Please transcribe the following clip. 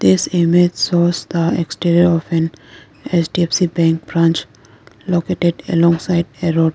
this image shows the exterior of an H_D_F_C bank branch located alongside a road.